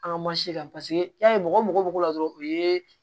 An ka kan paseke i y'a ye mɔgɔ bɛ k'o la dɔrɔn o ye